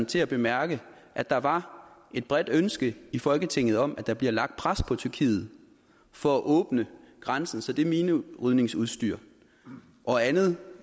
til at bemærke at der var et bredt ønske i folketinget om at der bliver lagt pres på tyrkiet for at åbne grænsen så det minerydningsudstyr og andet